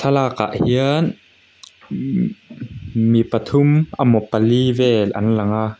thlalakah hian mi pathum emaw pali vel an lang a.